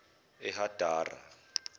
ehadara